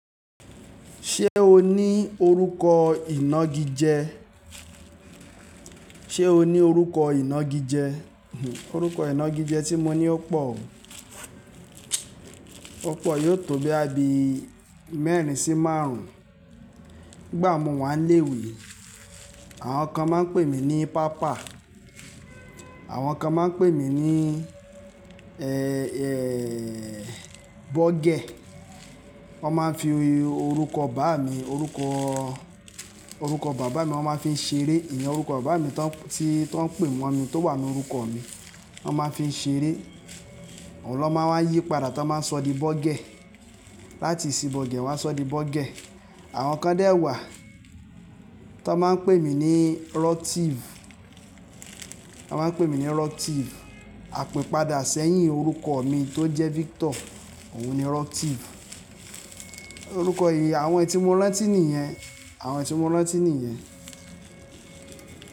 Ṣé o ní orúkọ ìnagijẹ? Ṣé o ní orúkọ ìnagijẹ? Orúkọ ìnagijẹ tí mo ní ò pọ̀. Ó pọ̀ yóò tó bí i abí mẹ́rin sí márùn-ún. Nígbà tí mo wà nílé ìwé, àwọn kan máa ń pè mí ní Pápá, àwọn kan máa ń pè mí ní, ẹ, ẹ, Bọ́gẹ̀. Wọ́n máa ń fi orúkọ bàbá mi, orúkọ, orúkọ bàbá mi wọ́n máa ń fi ṣeré. Ìyẹn orúkọ bàbá mi tí wọ́n ń pè wọ́n mi tó wà ní orúkọ mi. Wọ́n máa ń fi ṣeré. Òun ló máa ń yí padà tí wọ́n bá sọ di Bọ́gẹ̀. Láti isiboge wán a sọ di Bọ́gẹ̀. Àwọn kan dè wà tí wọ́n máa ń pè mí ní rotive. Wọ́n máa ń pè mí ní Rọ́tífù. Àpìpadà sẹ́yìn orúkọ mi tó jẹ́ Victor, òun ni roctive. Orúkọ èyí, àwọn ẹti mo rán tí nìyẹn. Àwọn ẹti mo rán tí nìyẹn.